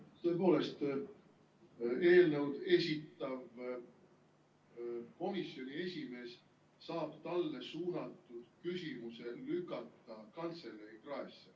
Kas tõepoolest eelnõu esitlev komisjoni esimees saab talle suunatud küsimuse lükata kantselei kraesse?